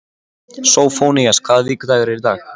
Sófónías, hvaða vikudagur er í dag?